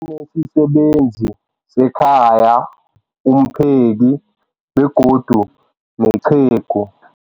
Banesisebenzi sekhaya, umpheki, begodu nenceku.